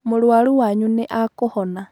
Mũrũaru wanyu nĩakũhona.